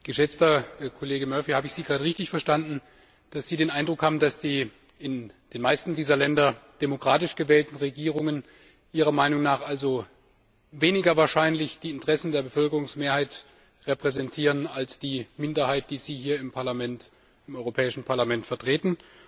Geschätzter Kollege Murphy, habe ich Sie gerade richtig verstanden, dass Sie den Eindruck haben, dass die in den meisten dieser Länder demokratisch gewählten Regierungen also weniger wahrscheinlich die Interessen der Bevölkerungsmehrheit repräsentieren als die Minderheit, die Sie hier im Europäischen Parlament vertreten?